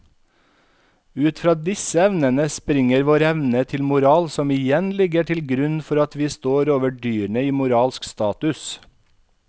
Ut fra disse evnene springer vår evne til moral som igjen ligger til grunn for at vi står over dyrene i moralsk status.